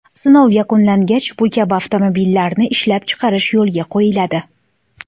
Sinov yakunlangach, bu kabi avtomobillarni ishlab chiqarish yo‘lga qo‘yiladi.